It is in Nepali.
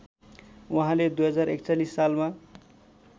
उहाँले २०४१ सालमा